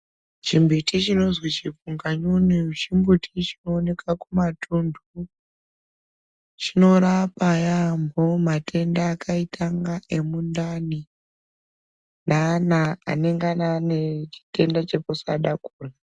Chimbuti chinozi chipunganyunyu chimbuti chinooneka kumatuntu chinorapa yampho matenda akaita kunge emundani neana anengana aine chitenda chekusada kurya.